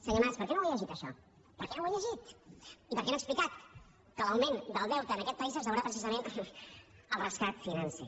senyor mas per què no ho llegit això per què no ho ha llegit i per què no ha explicat que l’augment del deute en aquest país es deurà precisament al rescat financer